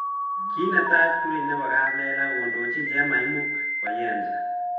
Kinetai pkurui nebo kaplelach kondochin chemaimuc koyensa